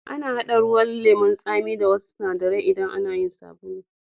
Ana hada ruwan lemu'n Sami da wassu sinadaran idan ana yin sabulu.